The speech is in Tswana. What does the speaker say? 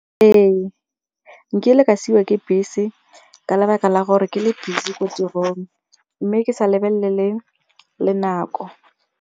Ee nkile ka siwa ke bese ka lebaka la gore ke le busy ko tirong mme ke sa lebelele le nako.